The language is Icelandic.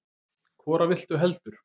Hvora viltu heldur?